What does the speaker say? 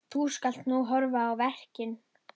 Nú skal horft á verkin.